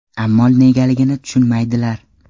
Ammo negaligini tushunmaydilar.